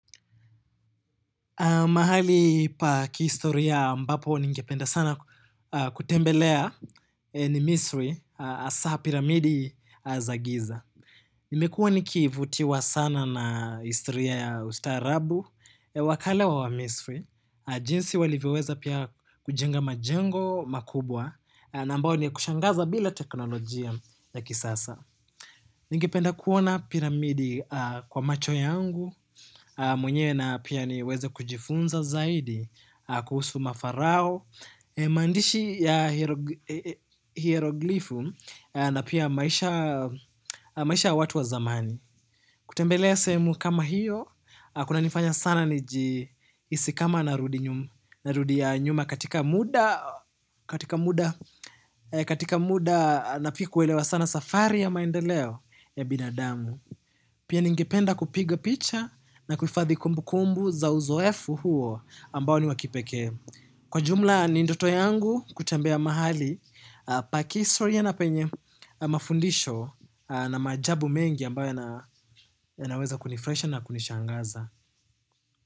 Mahali pa kihistoria ambapo ningependa sana kutembelea ni misri hasa piramidi za giza. Nimekuwa ni kivutiwa sana na historia ya ustaarabu, wa kale wa wamisri. Jinsi walivyoweza pia kujenga majengo makubwa na ambao ni ya kushangaza bila teknolojia ya kisasa. Ningependa kuona piramidi kwa macho yangu, mwenyewe na pia niweze kujifunza zaidi kuhusu mafarao, maandishi ya hieroglifu na pia maisha ya watu wa zamani. Kutembelea sehemu kama hiyo, kunanifanya sana nijiisi kama narudi nyuma katika muda na pia kuelewa sana safari ya maendeleo ya binadamu. Pia ningependa kupiga picha na kuhifadhi kumbu kumbu za uzoefu huo ambao ni wa kipekee. Kwa jumla ni ndoto yangu kutambea mahali, pa kihistoria ya na penye mafundisho na maajabu mengi ambayo yanaweza kunifurahisha na kunishangaza.